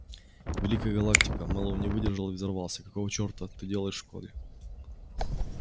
великая галактика мэллоу не выдержал и взорвался какого чёрта ты делал в школе